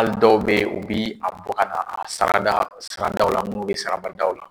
Hali dɔw bɛ yen u bɛ a bɔ ka na a sara daw la minnu bɛ sarabadaw la